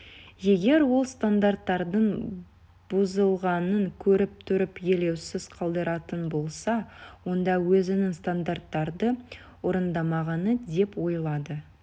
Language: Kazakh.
егер ол стандарттардың бұзылғанын көріп тұрып елеусіз қалдыратын болса онда өзінің стандарттарды орындамағаны деп ойлады